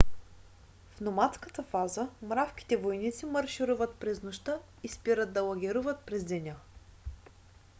в номадската фаза мравките-войници маршируват през нощта и спират да лагеруват през деня